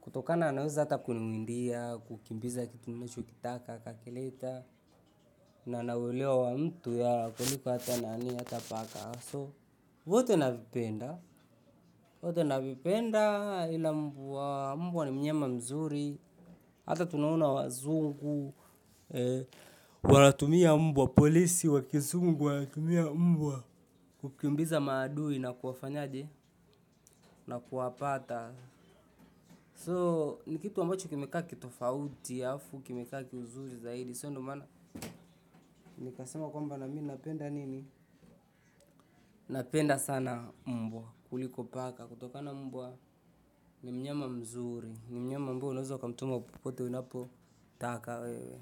Kutokana anaweza kuniimbia kukimbiza ninachokitaka akakileta na, anaelewa mtu ya, kuliko hata nani, hata paka. So, vote na vipenda. Vyote na vipenda ila mbwa. Mbwa ni mnyama mzuri. Hata tunaona wazungu, wanatumia mbwa, polisi, wa kizungu, wanatumia mbwa, kukimbiza maadui na kuafanyaje na kuwapata. So, ni kitu ambacho kimekaa ki tofauti, halafu, kimekaa kiuzuri zaidi. So, ndio maana, nikasema kwamba na mimi napenda nini? Napenda sana mbwa kuliko paka. Kutoka na mbwa, ni mnyama mzuri. Ni mnyama mbwa, unaweza ukamtuma popote unapo, taka wewe.